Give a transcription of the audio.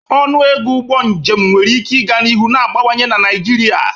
Ọnụ ego ụgbọ njem nwere ike ịga n'ihu na-agbawanye na Naijiria.